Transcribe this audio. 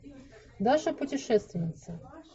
даша путешественница